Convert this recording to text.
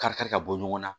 Kari kari ka bɔ ɲɔgɔn na